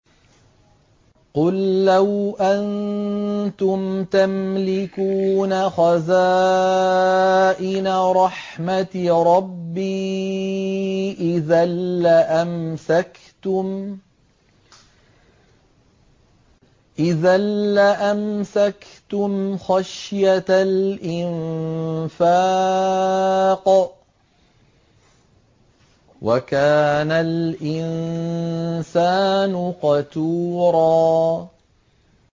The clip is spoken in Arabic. قُل لَّوْ أَنتُمْ تَمْلِكُونَ خَزَائِنَ رَحْمَةِ رَبِّي إِذًا لَّأَمْسَكْتُمْ خَشْيَةَ الْإِنفَاقِ ۚ وَكَانَ الْإِنسَانُ قَتُورًا